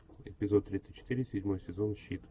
эпизод тридцать четыре седьмой сезон щит